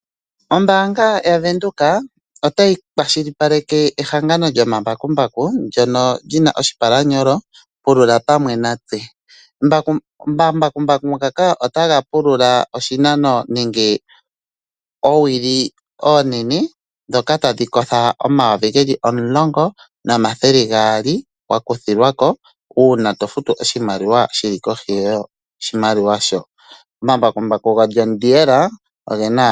Ombaanga yavenduka otayi kwashilipaleka ehangano lyomambakumbaku ndyono lina oshipalanyolo "pulula pamwe natse". Omambakumbaku ngaka otaga pulula oshinano nenge oowili oonene dhoka tadhi kotha omayuvi geli omulongo nomathele gaali wa kuthilwako uuna to futu oshimaliwa shili kohi yoshimaliwa sho. Omambakumbaku go John Deere ogena.